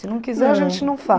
Eh... Se não quiser, a gente não